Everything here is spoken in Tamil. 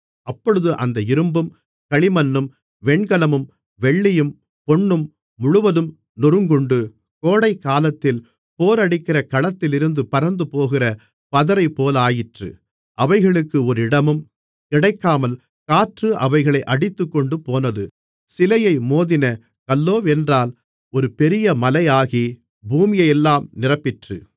அப்பொழுது அந்த இரும்பும் களிமண்ணும் வெண்கலமும் வெள்ளியும் பொன்னும் முழுவதும் நொறுங்குண்டு கோடைக்காலத்தில் போரடிக்கிற களத்திலிருந்து பறந்துபோகிற பதரைப்போலாயிற்று அவைகளுக்கு ஒரு இடமும் கிடைக்காமல் காற்று அவைகளை அடித்துக்கொண்டுபோனது சிலையை மோதின கல்லோவென்றால் ஒரு பெரிய மலையாகி பூமியையெல்லாம் நிரப்பிற்று